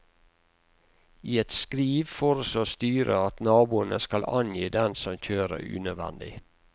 I et skriv foreslår styret at naboene skal angi dem som kjører unødvendig.